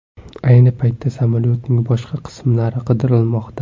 Ayni paytda samolyotning boshqa qismlari qidirilmoqda.